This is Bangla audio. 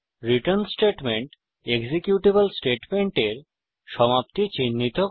রিটার্ন স্টেটমেন্ট এক্সিকিউটেবল স্টেটমেন্টের সমাপ্তি চিনহিত করে